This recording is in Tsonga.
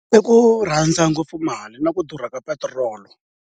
I ku rhandza ngopfu mali na ku durha ka petiroli.